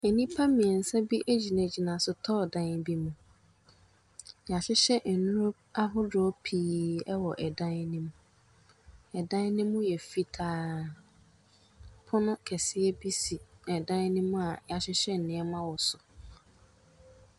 Enipa miɛnsa bi egyinagyina sotɔɔ dan bi mu. Yahyehyɛ nduro ahodoɔ pii ɛwɔ ɛdan ne mu. Ɛdan ne mu yɛ fitaa. Ɛpono kɛseɛ bi si ɛdan ne mu a yahyehyɛ nneɛma wɔ so.